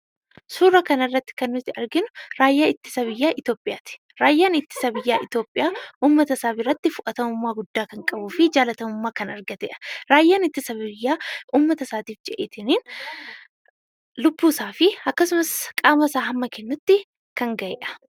Suura kanarratti kan nuti arginu, raayyaa ittisa biyyaa Itiyoophiyaati. Raayyaan ittisa biyyaa Itiyoophiyaa, uummata isaa biratti fudhatamummaa guddaa kan qabuu fi jaalatamummaa kan argatedha. Raayyaan ittisa biyyaa uummata isaatiif jedheetii lubbuu isaafi akkasumas qaama isaa hamma kennutti kan gahedha.